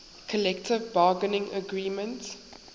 collective bargaining agreement